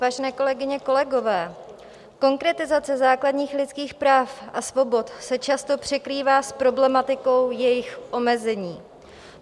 Vážené kolegyně, kolegové, konkretizace základních lidských práv a svobod se často překrývá s problematikou jejich omezení.